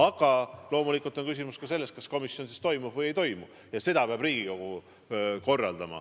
Aga loomulikult on küsimus ka selles, kas komisjoni istung toimub või ei toimu, ja seda peab Riigikogu korraldama.